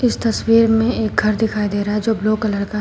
तस्वीर में एक घर दिखाई दे रहा है जो ब्लू कलर का है।